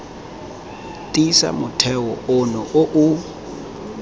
tiisa motheo ono o o